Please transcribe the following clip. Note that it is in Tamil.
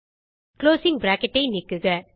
குளோசிங் bracketஐ நீக்குக